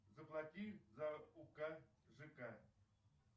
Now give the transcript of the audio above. заплати за ук жк